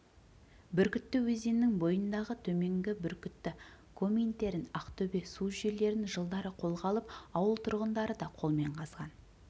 бүркітті өзенінің бойындағы төменгі бүркітті коминтерн ақтөбе су жүйелерін жылдары қолға алып ауыл тұрғындары да қолмен қазған